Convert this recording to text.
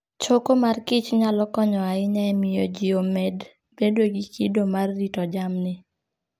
Choko mor kich nyalo konyo ahinya e miyo ji omed bedo gi kido mar rito jamni.